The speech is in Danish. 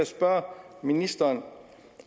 spørge ministeren